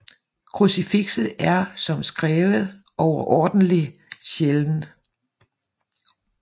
Krucifikset er som skrevet overordentlig sjælden